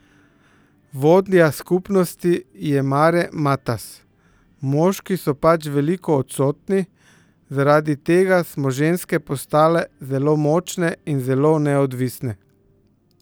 Vodja skupnosti je Mare Matas: "Moški so pač veliko odsotni, zaradi tega smo ženske postale zelo močne in zelo neodvisne.